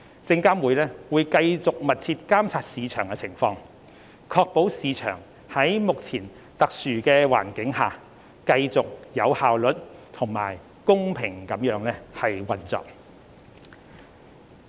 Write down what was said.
證監會將繼續密切監察市場情況，確保市場在目前特殊的環境下繼續有效率和公平地運作。